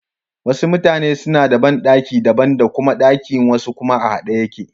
Wasu mutane suna da banɗaki daban da kuma ɗaki wasu kuma a haɗe yake.